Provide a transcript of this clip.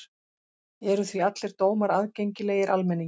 Eru því allir dómar aðgengilegir almenningi.